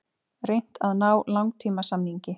Reynt að ná langtímasamningi